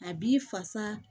A b'i fasa